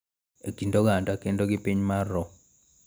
E kind oganda kendo gi piny mar roo